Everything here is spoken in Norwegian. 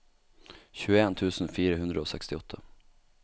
tjueen tusen fire hundre og sekstiåtte